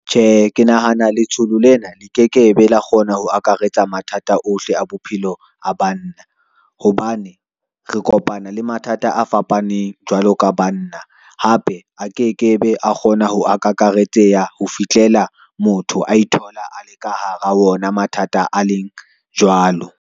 Tjhe, ke nahana letsolo lena le ke ke be la kgona ho akaretsa mathata ohle a bophelo a banna, hobane re kopana le mathata a fapaneng jwalo ka banna. Hape a ke ke be a kgona ho akakaretseha ho fihlela motho a ithola a le ka hara ona mathata a leng jwalo.